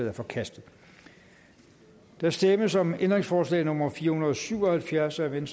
er forkastet der stemmes om ændringsforslag nummer fire hundrede og syv og halvfjerds af v